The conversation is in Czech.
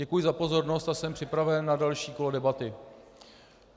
Děkuji za pozornost a jsem připraven na další kolo debaty.